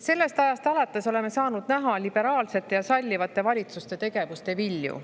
" Sellest ajast alates oleme saanud näha liberaalsete ja sallivate valitsuste tegevuste vilju.